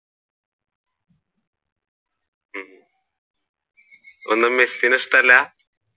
ഒന്ന് മെസ്സിനെ ഇഷ്ടമല്ല?